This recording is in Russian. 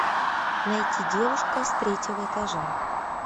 найти девушка с третьего этажа